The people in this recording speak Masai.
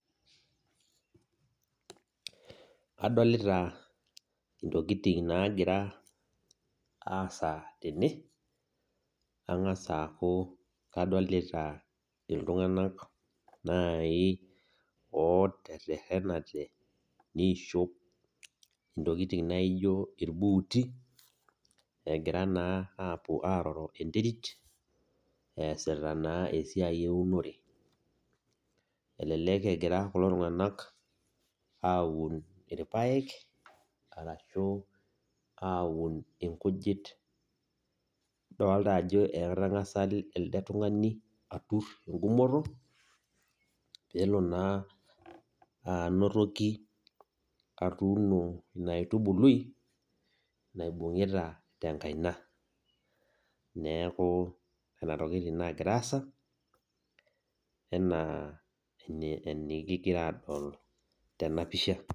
Adolita intokitin naagira aasa tene, ang'as aaku adolita iltung'anak naai ooterrerenate naaji niishop ntokitin naaijo irbuuti egira naa aapuo aaroro enterit eesita naa esiai eunore elelek egira kulo tung'anak aun irpaek arashu aun nkujit, idolita ajo entang'asa elde tung'ani aturr enkumoto pee elo naa anotoki atuuno ina aitubului naibung'ita tenkaina, neeku nena tokitin naagira aasa enaa enikigira aadol tena pisha.